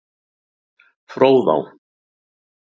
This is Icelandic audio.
Fróðá